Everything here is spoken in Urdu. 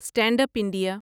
stand up India